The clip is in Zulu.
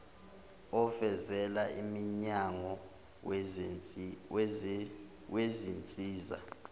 ovela emnyango wezinsiza